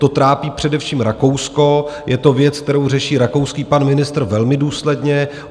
To trápí především Rakousko, je to věc, kterou řeší rakouský pan ministr velmi důsledně.